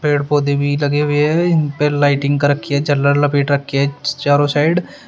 पेड़ पौधे भी लगे हुए हैं लाइटिंग कर रखी है झलर लपेट रखी है चारों साइड ।